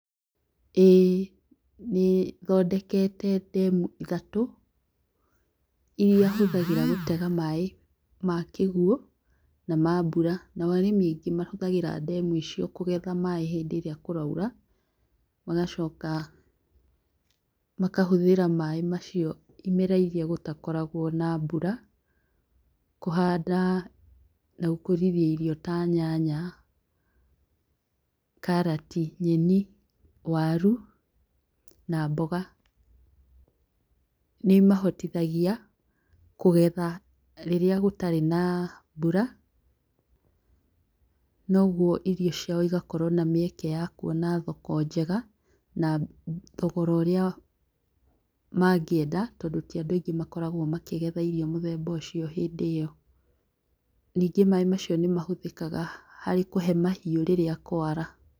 Ĩĩ, nĩthondekete demu ithatũ, iria hũthagĩra gũtega maaĩ makĩguo na mabura, nao arĩmi aingĩ mahũthagĩra demu icio kũgetha maaĩ hĩndĩ ĩria kũraira, magacoka, makahũthĩra maaĩ macio imera ĩria ĩtakoragwo na mbura, kũhanda na gũkũrithia irio ta nyanya, karati, nyeni, waru na mboga, nĩimahotithagia kũgetha rĩria gũtari na mbura, noguo irio ciao igakorwo na mieke ya kũona thoko njega, na thogora ũria, mangĩenda tondũ ti andũ aingĩ makoragwo makĩgetha irio mũthemba ũcio hĩndĩ ĩyo, ningĩ maaĩ macio nĩ mahũthĩkaga harĩ kũhe mahiũ rĩrĩa kwara.